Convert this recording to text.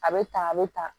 A bɛ ta a bɛ ta